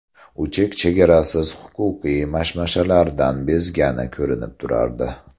U chek-chegarasiz huquqiy mashmashalardan bezgani ko‘rinib turardi.